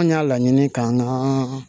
An y'a laɲini k'an ka